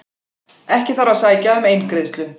Ekki þarf að sækja um eingreiðslu